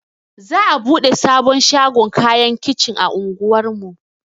Za'a buɗe sabon shagon kayan kicin a unguwar mu.